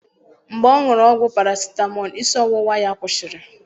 Mgbe ọṅụru ọgwụ paracetamol isi ọwụwa ya kwụsịrị